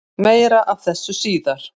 Meira af þessu síðar.